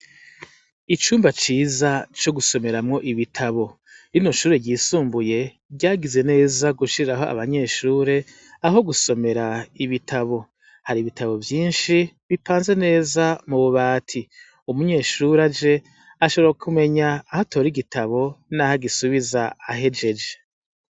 Icumba ciza co gusomeramwo ibitabo rinoshure ryisumbuye ryagize neza gushiraho abanyeshure aho gusomera ibitabo hari ibitabo vyinshi bipanze neza mu bubati umunyeshura je ashara kumenya ahoatora igitabo naha gisubiza ahej ej.